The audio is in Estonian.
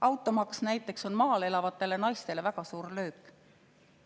Automaks näiteks on maal elavatele naistele väga suur löök.